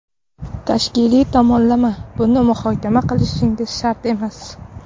Tashkiliy tomonlama… Buni muhokama qilishimiz shart emas.